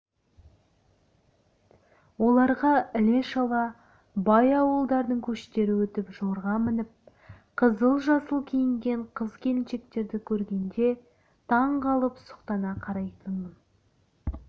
оларға іле-шала бай ауылдардың көштері өтіп жорға мініп қызыл-жасыл киінген қыз-келіншектерді көргенде таңғалып сұқтана қарайтынмын